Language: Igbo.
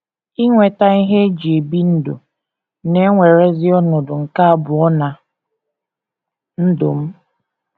Inweta ihe e ji ebi ndụ na - ewerezi ọnọdụ nke abụọ ná ndụ m.